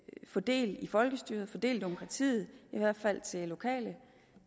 få del i folkestyret få del i demokratiet i hvert fald til lokale